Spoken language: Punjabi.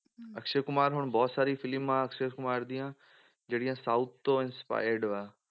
ਅਕਸ਼ੇ ਕੁਮਾਰ ਨੂੰ ਬਹੁਤ ਸਾਰੀਆਂ ਫਿਲਮਾਂ ਅਕਸ਼ੇ ਕੁਮਾਰ ਦੀਆਂ ਜਾਹੜੀਆਂ south ਤੋਂ inspired ਆ